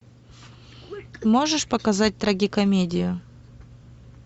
можешь показать трагикомедию